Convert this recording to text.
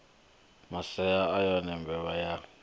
maseo a yone mbevha yo